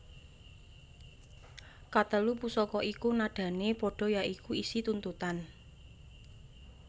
Katelu pusaka iku nadané padha ya iku isi tuntutan